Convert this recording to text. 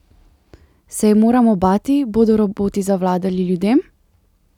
Se je moramo bati, bodo roboti zavladali ljudem?